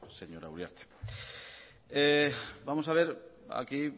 señora uriarte vamos a ver aquí